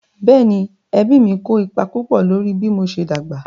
Bẹ́ẹ̀ni, ẹbí mí kó ipa púpọ̀ lórí bí mo ṣe dàgbà